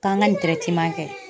K'an ka kɛ.